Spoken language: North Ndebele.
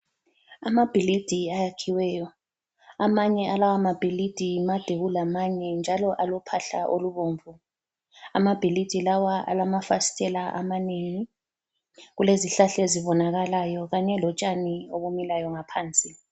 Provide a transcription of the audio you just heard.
Amabhilidi ayakhiweyo. Amanye alawo amabhilidi made kulamanye njalo alophahla olubomvu. Amabhilidi lawa alamafasitela amanengi. Kulezihlahla ezibonakalayo Kanye lotshani obumilayo ngaphansi.